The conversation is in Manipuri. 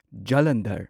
ꯖꯂꯟꯙꯔ